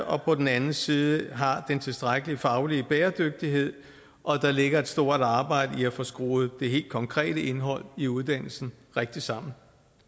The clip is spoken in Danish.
og på den anden side har den tilstrækkelige faglige bæredygtighed og der ligger et stort arbejde i at få skruet det helt konkrete indhold i uddannelsen rigtigt sammen